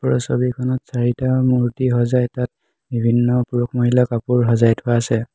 ওপৰৰ ছবিখনত চাৰিটা মূৰ্ত্তি সজাই তাত বিভিন্ন পুৰুষ মহিলা কাপোৰ সজাই থোৱা আছে।